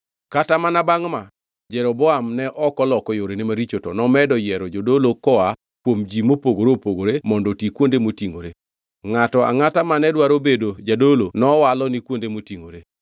Kata mana bangʼ ma, Jeroboam ne ok oloko yorene maricho to nomedo yiero jodolo koa kuom ji mopogore opogore mondo oti kuonde motingʼore. Ngʼato angʼata mane dwaro bedo jadolo nowalo ni kuonde motingʼore.